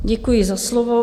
Děkuji za slovo.